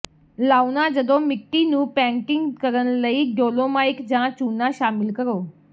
ਲਾਉਣਾ ਜਦੋਂ ਮਿੱਟੀ ਨੂੰ ਪੈਟਿੰਗ ਕਰਨ ਲਈ ਡੋਲੋਮਾਈਟ ਜਾਂ ਚੂਨਾ ਸ਼ਾਮਿਲ ਕਰੋ